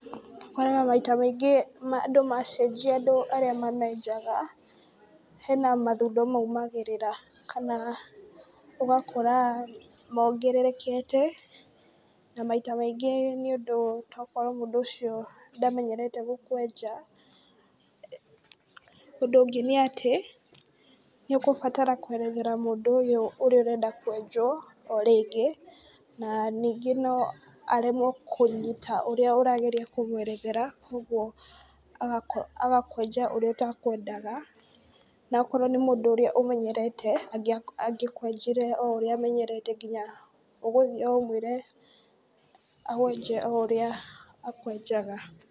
Ũkoraga maita maingĩ andũ macenjia andũ arĩa mamenjaga hena mathundo maũmagĩrĩra kana ũgakora mongererekete na maita maingĩ, nĩ nĩũndũ tokorwo mũndũ ũcio ndamenyerete gũkwenja, ũndũ ũngĩ nĩ atĩ nĩ ũkũbatara kwerethera mũndũ ũyũ ũrĩa ũrenda kwenjwo o rĩngĩ na ningĩ no aremwo kũnyita ũrĩa ũrageria kũmwerethera, kogũo agakwenja ũrĩa ũtakwendaga na akorwo nĩ mũndũ ũrĩa ũmenyerete angĩkwenjire o ũrĩa ũmenyerete nginya ũgũthiĩ ũmwĩre akwenje o ũrĩa akwenjaga.